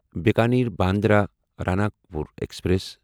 Bikaner Bandra Ranakpur express